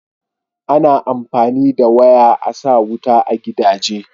ana amfani da waya a sa wuta a gidaje